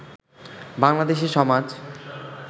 বাংলাদেশে সমাজ